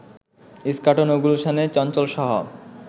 ইস্কাটন ও গুলশানে চঞ্চলসহ